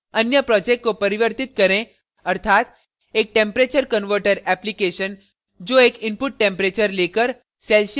अन्य project को परिवर्तित करें अर्थात एक टैम्परेचर converter application जो एक इनुपट टैम्परेचर लेकर